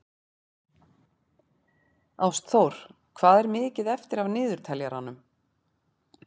Ástþór, hvað er mikið eftir af niðurteljaranum?